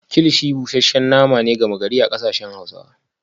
kilichi busasshen naman nama ne da aka saba a arewa